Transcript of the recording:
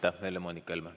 Helle-Moonika Helme.